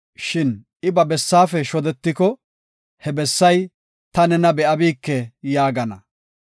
Shin I ba bessaafe shodetiko, he bessay, ‘Ta nena be7abike’ yaagana.